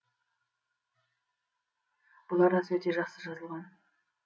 бұл арасы өте жақсы жазылған